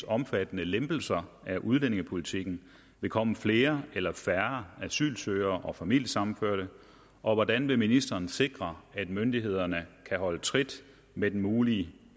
omfattende lempelser af udlændingepolitikken vil komme flere eller færre asylsøgere og familiesammenførte og hvordan vil ministeren sikre at myndighederne kan holde trit med den mulige